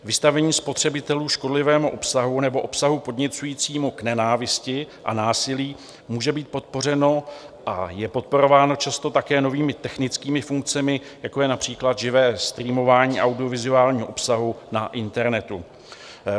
Vystavení spotřebitelů škodlivému obsahu nebo obsahu podněcujícímu k nenávisti a násilí může být podpořeno a je podporováno často také novými technickými funkcemi, jako je například živé streamování audiovizuálního obsahu na internetu.